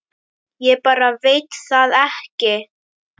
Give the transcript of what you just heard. Ég bara veit það ekki.